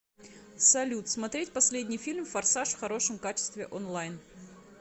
салют смотреть последний фильм форсаж в хорошем качестве онлайн